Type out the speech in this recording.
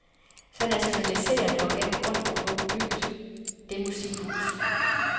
Så nationaliser dog den grund, og se at få bygget det musikhus.